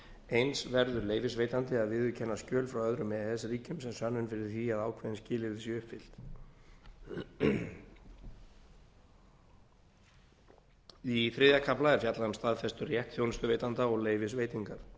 eins verður leyfisveitandi að viðurkenna skjöl frá öðrum e e s ríkjum sem sönnun fyrir því að ákveðin skilyrði séu uppfyllt í þriðja kafla er fjallað um staðfesturétt þjónustuveitanda og leyfisveitingar